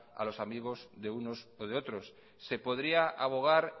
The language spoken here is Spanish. a los amigos de unos o de otros se podría abogar